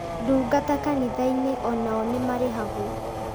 Ndungata kanitha-inĩ o nao nĩmarĩhagwo